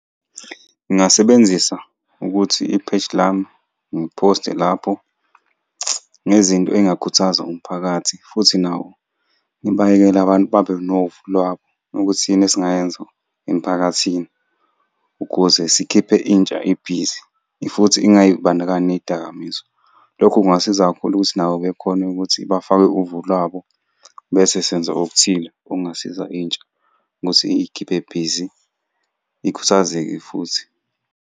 Ngingasebenzisa ukuthi i-page lami ngiphoste lapho ngezinto ey'ngakhuthaza umphakathi, futhi nawo ngibayekele abantu babe novo lwabo ukuthi yini esingayenza emphakathini ukuze sikhiphe intsha ibhizi, futhi ingay'bandakanyi ney'dakamizwa. Lokho kungasiza kakhulu ukuthi nabo bekhone ukuthi bafake uvo labo, bese senza okuthile okungasiza intsha ukuthi iy'khiphe bhizi ikhuthazeke futhi.